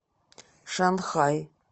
шанхай